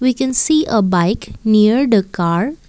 We can see a bike near the car.